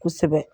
Kosɛbɛ